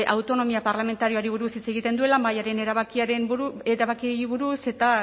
autonomia parlamentarioari buruz hitz egiten duela mahaiaren erabakiei buruz eta